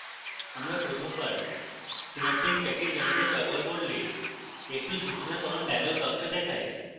আমরা প্রথমবার synaptic package manager ব্যবহার করলে একটি সুচনাকরণ dialog box দেখায়